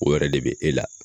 O wɛrɛ de be e la